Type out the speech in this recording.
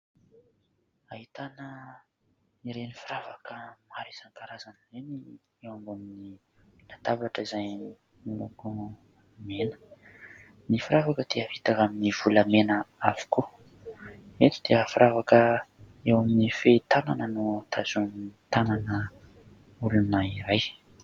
Ahitana ireny firavaka maro isankarazany ireny eo ambonin'ny latabatra izay miloko mena, ny firavaka dia vita amin'ny volamena avokoa, eto dia firavaka eo amin'ny fehy tanana no tazomin'ny tanana olona iray.